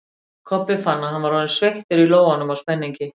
Kobbi fann að hann var orðinn sveittur í lófunum af spenningi.